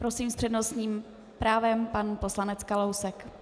Prosím, s přednostním právem pan poslanec Kalousek.